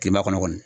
Kilema kɔnɔ kɔni